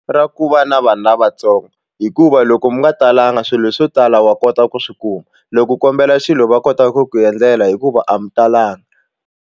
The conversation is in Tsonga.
Ra ku va na vanhu lavatsongo hikuva loko mi nga talanga swilo swo tala wa kota ku swi kuma loko u kombela xilo va kota ku ku endlela hikuva a mi talanga.